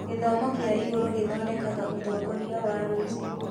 Gĩthomo kĩa igũrũ gĩthondekaga ũtongoria wa rũciũ.